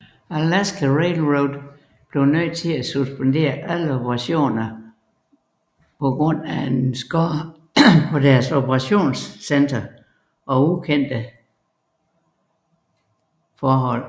Alaska Railroad måtte suspendere alle operationer på grund af alvorlig skade på deres operationscenter og ukendte sporforhold